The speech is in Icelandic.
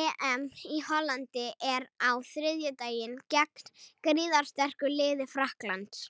EM í Hollandi er á þriðjudaginn gegn gríðarsterku liði Frakklands.